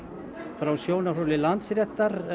frá sjónarhóli Landsréttar